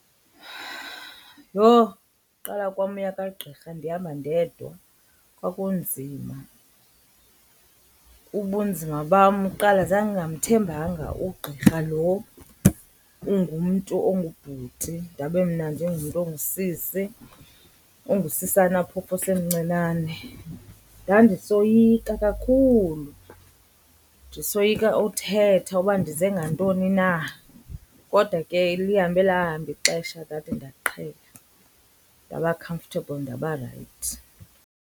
Yho, uqala kwam uya kwagqirha ndihamba ndedwa kwakunzima. Ubunzima bam kuqala zandingamthembanga ugqirha lo ungumntu ongubhuti ndabe mna ndiingumntu ongusisi, ongusisana phofu osemncinane. Ndandisoyika kakhulu, ndisoyika uthetha uba ndize ngantoni na. Kodwa ke lihambe lahamba ixesha ndade ndaqhela, ndaba comfortable ndaba rayithi.